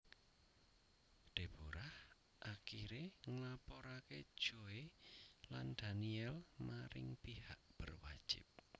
Deborah akiré nglaporaké Joy lan Daniel maring pihak berwajib